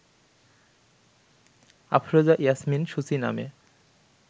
আফরোজা ইয়াসমিন সূচি নামে